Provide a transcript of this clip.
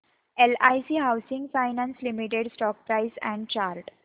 LIC housing finance limited stock price and chart